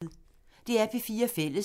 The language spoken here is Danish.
DR P4 Fælles